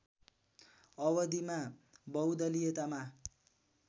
अवधिमा बहुदलीयतामा